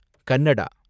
Kannada